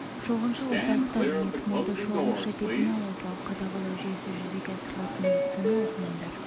шолғыншы орталықтар және тұмауды шолғыншы эпидемиологиялық қадағалау жүйесі жүзеге асырылатын медициналық ұйымдар